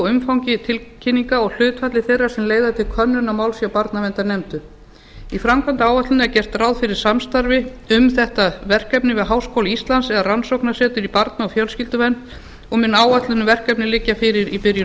umfangi tilkynninga og hlutfalli þeirra sem leiða til könnunar máls hjá barnaverndarnefndum í framkvæmdaáætluninni er gert ráð fyrir samstarfi um þetta verkefni við háskóla íslands eða rannsóknarsetur í barna og fjölskylduvernd og mun áætlun um verkefnið liggja fyrir í byrjun